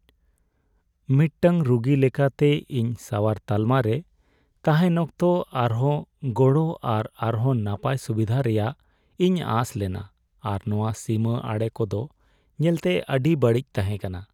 ᱢᱤᱫᱴᱟᱝ ᱨᱩᱜᱤ ᱞᱮᱠᱟᱛᱮ, ᱤᱧ ᱥᱟᱣᱟᱨ ᱛᱟᱞᱢᱟ ᱨᱮ ᱛᱟᱦᱮᱱ ᱚᱠᱛᱚ ᱟᱨᱦᱚᱸ ᱜᱚᱲᱚ ᱟᱨ ᱟᱨᱦᱚᱸ ᱱᱟᱯᱟᱭ ᱥᱩᱵᱤᱫᱷᱟ ᱨᱮᱭᱟᱜ ᱤᱧ ᱟᱸᱥ ᱞᱮᱱᱟ, ᱟᱨ ᱱᱚᱶᱟ ᱥᱤᱢᱟᱹ ᱟᱲᱮ ᱠᱚᱫᱚ ᱧᱮᱞᱛᱮ ᱟᱹᱰᱤ ᱵᱟᱹᱲᱤᱡ ᱛᱟᱦᱮᱸ ᱠᱟᱱᱟ ᱾